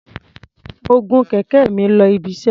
Mo gun kẹ̀kẹ́ mi lọ ibiṣẹ́.